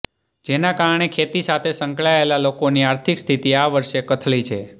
જેનાકારણે ખેતી સાથે સંકળાયેલા લોકોની આર્થિક સ્થિતિ આ વર્ષે કથળી છે